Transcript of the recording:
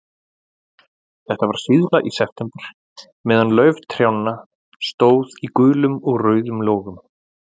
Þetta var síðla í september, meðan lauf trjánna stóð í gulum og rauðum logum.